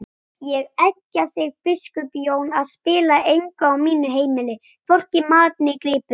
Ég eggja þig biskup Jón að spilla engu á mínu heimili, hvorki mat né gripum!